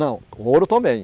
Não, ouro também.